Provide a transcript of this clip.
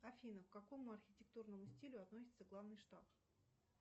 афина к какому архитектурному стилю относится главный штаб